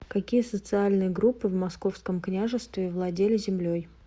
какие социальные группы в московском княжестве владели землей